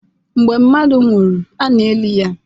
Mgbe mmadụ nwụrụ, a na-eli ya.